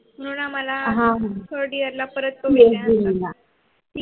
तरुण ना मला